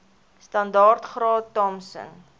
standaard graad thompson